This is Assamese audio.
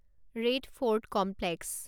red Fort complex